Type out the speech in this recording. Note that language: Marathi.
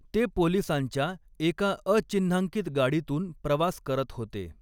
ते पोलिसांच्या एका अचिन्हांकित गाडीतून प्रवास करत होते.